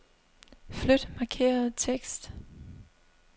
Flyt markerede tekst.